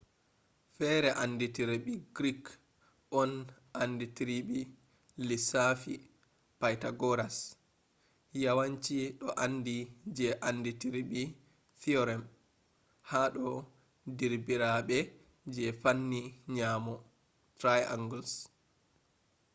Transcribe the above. fere andidirbi greek on andidiribe lissafi pythagoras yawanci do andi je andidirbi theorem hado derbirabe je panni nyamo triangles